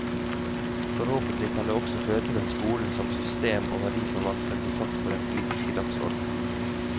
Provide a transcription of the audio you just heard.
Forhåpentlig kan det også føre til at skolen som system og verdiforvalter blir satt på den politiske dagsorden.